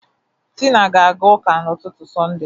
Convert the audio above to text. Tina ga-aga ụka n'ụtụtụ Sọnde.